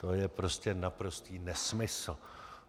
To je prostě naprostý nesmysl!